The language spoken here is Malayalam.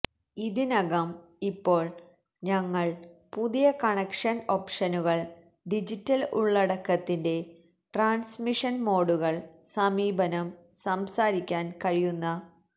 ഇതിനകം ഇപ്പോൾ ഞങ്ങൾ പുതിയ കണക്ഷൻ ഓപ്ഷനുകൾ ഡിജിറ്റൽ ഉള്ളടക്കത്തിന്റെ ട്രാൻസ്മിഷൻ മോഡുകൾ സമീപനം സംസാരിക്കാൻ കഴിയുന്ന